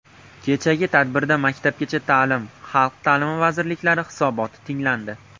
Kechagi tadbirda Maktabgacha ta’lim, Xalq ta’limi vazirliklari hisoboti tinglandi.